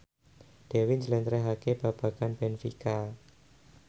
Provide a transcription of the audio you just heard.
Dewi njlentrehake babagan benfica